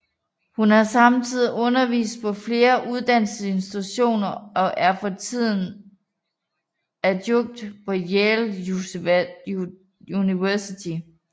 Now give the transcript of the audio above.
Hun har samtidig undervist på flere uddannelsesinstitutioner og er for tiden adjunkt på Yale University